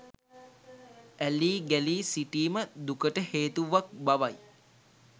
ඇලී ගැලී සිටීම දුකට හේතුවක් බවයි.